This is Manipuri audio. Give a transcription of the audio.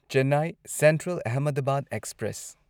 Chennai Central Ahmedabad express